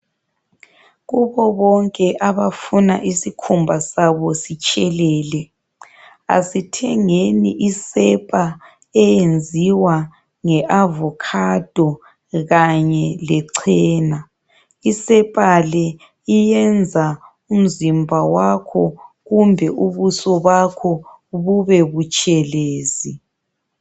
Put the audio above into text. Kubo bonke abafuna isikhumba sabo sitshelele, asithengeni isepa eyenziwa nge avocado kanye lechena. Isepa le iyenza umzimba wakho kumbe ubuso bakho bubebutshelezi.